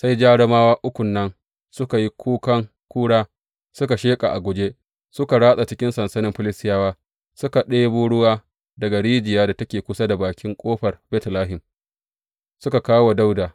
Sai jarumawa ukun nan suka yi kukan ƙura, suka sheƙa a guje suka ratsa cikin sansanin Filistiyawa, suka ɗebo ruwa daga rijiyar da take kusa da bakin ƙofar Betlehem, suka kawo wa Dawuda.